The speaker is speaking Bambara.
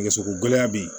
Nɛgɛsoko gɛlɛn bɛ yen